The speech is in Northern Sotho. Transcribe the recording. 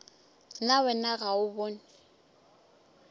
na wena ga o bone